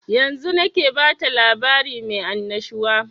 Yanzun nake bata labari mai annashuwa